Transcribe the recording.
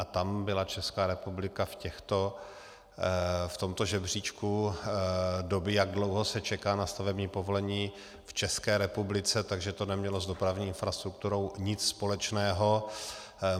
A tam byla Česká republika v tomto žebříčku doby, jak dlouho se čeká na stavební povolení v České republice, takže to nemělo s dopravní infrastrukturou nic společného.